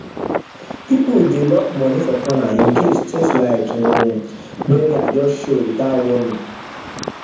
people dey lock money for corner in case things like um burial just show without warning warning